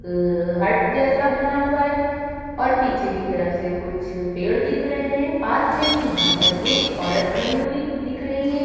hurt जैसा बना हुआ है और पीछे की तरफ से कुछ पेड़ दिख रहे हैं पास में ही यहाँ पर एक औरत खड़ी हुई --